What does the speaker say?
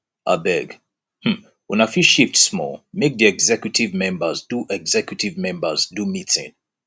abeg um una fit shift small make di executive members do executive members do meeting